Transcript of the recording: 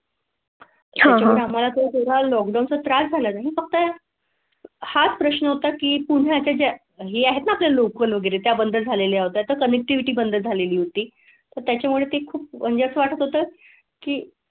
हां हां हमाला लॉकडाउनच्या त्रास झाला नाही फक्त हाच प्रश्न होता की पुण्या च्या हे आहे तर लोकल लोकल वगैरे त्या बंद झाले आहेत कनेक्टिविटी बंद झालेली होती. तर त्याच्या मुळे ते खूप म्हणजे असं वाटत होतं की.